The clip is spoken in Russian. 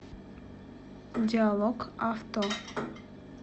диалог авто